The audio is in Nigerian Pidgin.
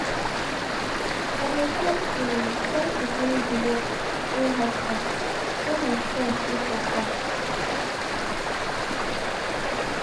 i de try to try to finsh de work wey hard pass when my strength de for far.